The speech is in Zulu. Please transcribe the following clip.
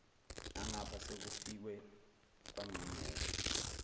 nangapha sekufikwe kwangqingetshe